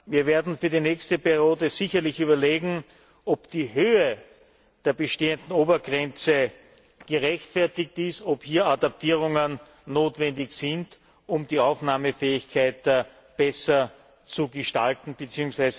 Wir werden für die nächste Periode sicherlich überlegen, ob die Höhe der bestehenden Obergrenze gerechtfertigt ist, ob hier Adaptierungen notwendig sind, um die Aufnahmefähigkeit besser zu gestalten bzw.